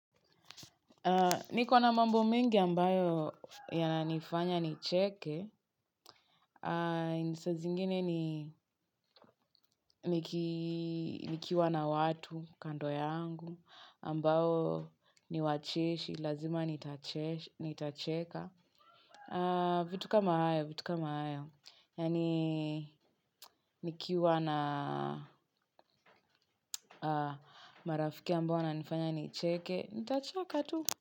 Niko na mambo mengi ambayo yananifanya nicheke. Saa zingine ni nikiwa na watu kando yangu ambao ni wacheshi, lazima nitacheka. Vitu kama hayo, vitu kama hayo. Yaani nikiwa na marafiki ambao wananifanya nicheke, nitacheka tu.